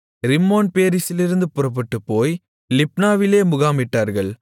ரிம்மோன்பேரேசிலிருந்து புறப்பட்டுப்போய் லிப்னாவிலே முகாமிட்டார்கள்